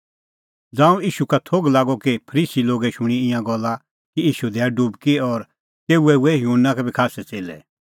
ज़ांऊं ईशू का थोघ लागअ कि फरीसी लोगै शूणीं ईंयां गल्ला कि ईशू दैआ डुबकी और तेऊए हुऐ युहन्ना का बी खास्सै च़ेल्लै